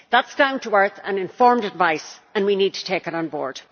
That is down to earth and informed advice and we need to take it on board.